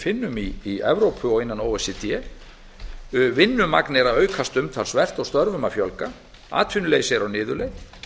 finnum í evrópu og innan o e c d vinnumagn er að aukast umtalsvert og störfum að fjölga atvinnuleysi er á niðurleið